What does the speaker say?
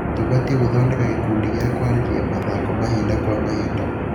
Tũbatie gũthondeka gĩkundi gĩa kũarĩrĩria mathako mahinda kwa mahinda.